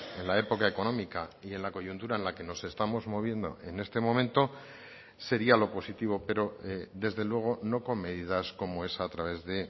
en la época económica y en la coyuntura en la que nos estamos moviendo en este momento sería lo positivo pero desde luego no con medidas como esa a través de